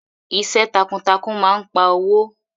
Iṣẹ́ takuntakun máa n pa owó.